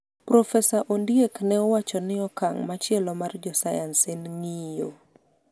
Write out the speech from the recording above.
Profesa Ondiek ne owacho ni okang machielo mar jo sayans en ng'iyo